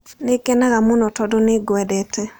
Nĩ ngenaga mũno tondũ nĩ ngwendete.